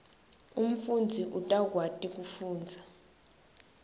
umfundzi utawukwati kufundza